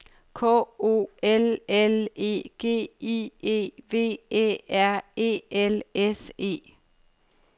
K O L L E G I E V Æ R E L S E